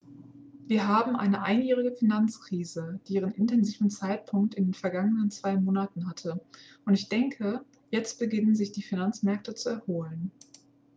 """wir haben eine einjährige finanzkrise die ihren intensivsten zeitpunkt in den vergangenen zwei monaten hatte und ich denke jetzt beginnen sich die finanzmärkte zu erholen.""